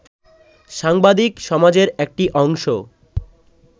সাংবাদিক সমাজের একটি অংশ